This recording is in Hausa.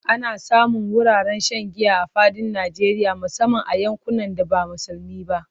Ana samun wuraren shan giya a fadin Najeriya musamman a yankunan da ba musulmi ba.